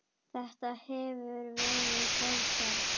Þetta hefur verið góð ferð.